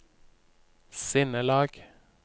sinnelag